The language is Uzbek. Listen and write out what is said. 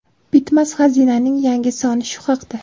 ".Bitmas xazina"ning yangi soni shu haqda.